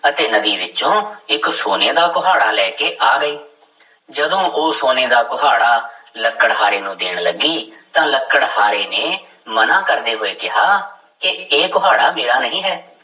ਅਤੇ ਨਦੀ ਵਿੱਚੋਂ ਇੱਕ ਸੋਨੇ ਦਾ ਕੁਹਾੜਾ ਲੈ ਕੇ ਆ ਗਈ, ਜਦੋਂ ਉਹ ਸੋਨੇ ਦਾ ਕੁਹਾੜਾ ਲੱਕੜਹਾਰੇ ਨੂੰ ਦੇਣ ਲੱਗੀ ਤਾਂ ਲੱਕੜਹਾਰੇ ਨੇ ਮਨਾ ਕਰਦੇ ਹੋਏ ਕਿਹਾ ਕਿ ਇਹ ਕੁਹਾੜਾ ਮੇਰਾ ਨਹੀਂ ਹੈ।